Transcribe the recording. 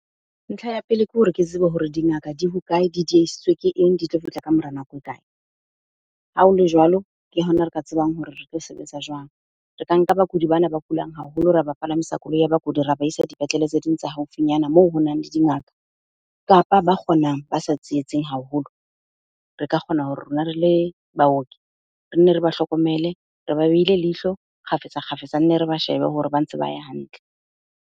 Ntlha ya pele ke hore ke tsebe hore di ngaka di hokae? Di diehisitswe ke eng? Di tlo fihla ka mora nako e kae? Ha o le jwalo, ke hona re ka tsebang hore re tlo sebetsa jwang. Re ka nka bakudi bana ba kulang haholo ra ba palamisa koloi ya bakudi, ra ba isa dipetlele tse ding tsa haufinyana moo ho nang le dingaka. Kapa ba kgonang ba sa haholo. Re ka kgona hore rona re le baoki re nne re ba hlokomele, re ba behile leihlo kgafetsa kgafetsa, nne re ba shebe hore ba ntse ba ya hantle.